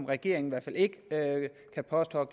regeringen i hvert fald ikke kan påstå at